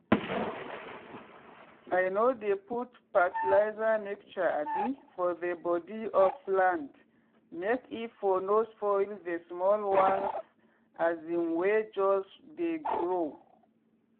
i no dey put fetilizer mixture abi for the body of plant make e for no spoil the small ones as in wey just dey grow.